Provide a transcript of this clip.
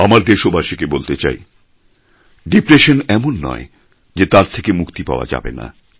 আমার দেশবাসীকে বলতে চাই ডিপ্রেশন এমন নয় যে তার থেকে মুক্তি পাওয়া যাবে না